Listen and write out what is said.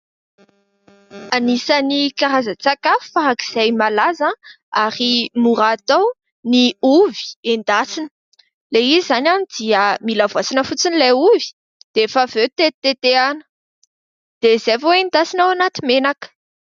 Anisan'ny karazan-tsakafo farak'izay malaza ary mora atao ny ovy endasina. Ilay izy izany dia mila voasana fotsiny ilay ovy, dia rehefa avy eo tetitetehana, dia izay vao endasina ao anaty menaka.